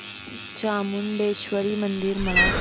चामुंडेश्वरी मंदिर मला सांग